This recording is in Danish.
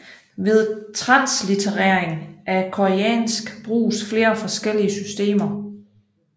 Ved translitterering af koreansk bruges flere forskellige systemer